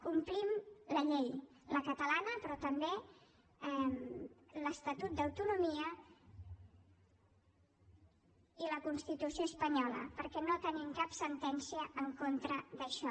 complim la llei la catalana però també l’estatut d’autonomia i la constitució espanyola perquè no tenim cap sentència en contra d’això